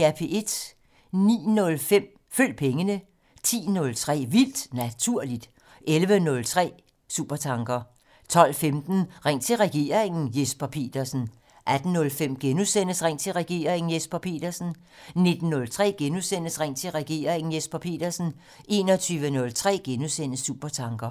09:05: Følg pengene 10:03: Vildt Naturligt 11:03: Supertanker 12:15: Ring til regeringen: Jesper Petersen 18:05: Ring til regeringen: Jesper Petersen * 19:03: Ring til regeringen: Jesper Petersen * 21:03: Supertanker *